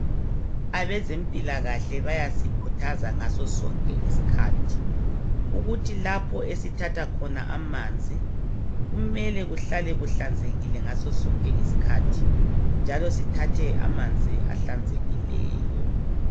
Abezempilakahle bayasikhuthaza ngasosonke isikhathi ukuthi lapho esithatha khona amanzi kumele kuhlale kuhlanzekile ngasosonke isikhathi njalo sithathe amanzi ahlanzekileyo.